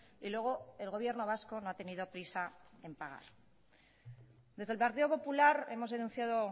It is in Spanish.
y luego el gobierno vasco no ha tenido prisa en pagar desde el partido popular hemos denunciado